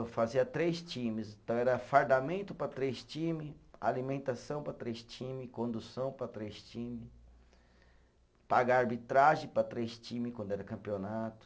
Eu fazia três times, então era fardamento para três time, alimentação para três time, condução para três time, pagar arbitragem para três time quando era campeonato.